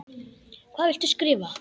Hvað viltu skrifa?